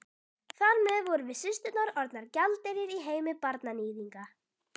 Þar með vorum við systurnar orðnar gjaldeyrir í heimi barnaníðinga.